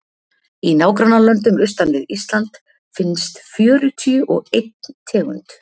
í nágrannalöndum austan við ísland finnst fjörutíu og einn tegund